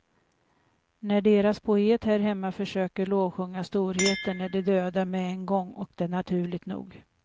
När deras poeter här hemma försöker lovsjunga storheten är de döda med en gång, och det naturligt nog.